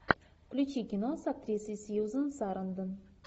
включи кино с актрисой сьюзан сарандон